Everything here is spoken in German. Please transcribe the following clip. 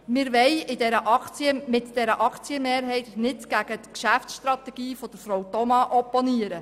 Wir wollen mit dieser Aktienmehrheit nicht gegen die Geschäftsstrategie von Frau Thoma opponieren.